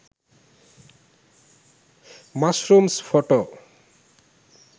mushrooms photo